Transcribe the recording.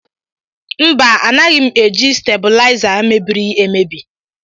Mba anaghị m eji stabuliza mebiri emebi.